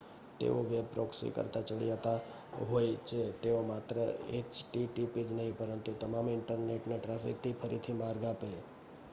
તેઓ web proxy કરતાં ચડિયાતા હોય છે તેઓ માત્ર એચટીટીપી જ નહીં પરંતુ તમામ ઇન્ટરનેટ ટ્રાફિકને ફરીથી માર્ગઆપે